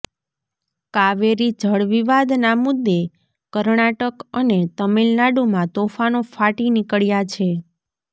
કાવેરી જળવિવાદના મુદ્દે કર્ણાટક અને તમિલનાડુમાં તોફાનો ફાટી નીકળ્યા છે